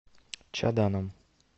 чаданом